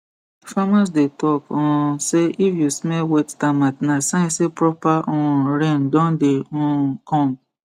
farmers dey talk um say if you smell wet termite na sign say proper um rain don dey um come